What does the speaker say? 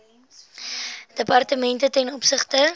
departemente ten opsigte